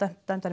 dæmdar